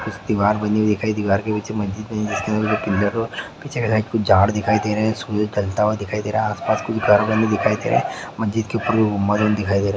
दीवार बनी दिखाई दे रहा है दीवार के पीछे मस्जिद है पीछे के साइड कुछ झाड़ दिखाई दे रहे है सूरज ढलता हुआ दिखाई दे रहा है आस पास कुछ गाँव वाले दिखाई दे रहे है मस्जिद के ऊपर मरहम दिखाई दे रहा है।